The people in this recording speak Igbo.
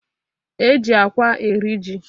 E ji akwa eri ji